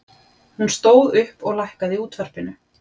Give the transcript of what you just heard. Hún stóð upp og lækkaði í útvarpinu.